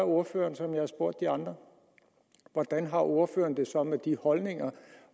ordføreren som jeg har spurgt de andre hvordan har ordføreren det så med de holdninger